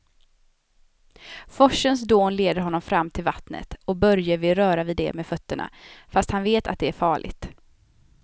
Forsens dån leder honom fram till vattnet och Börje vill röra vid det med fötterna, fast han vet att det är farligt.